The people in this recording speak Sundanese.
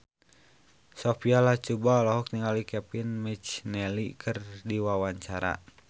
Sophia Latjuba olohok ningali Kevin McNally keur diwawancara